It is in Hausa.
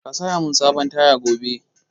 Ka saya mun sabon taya gobe!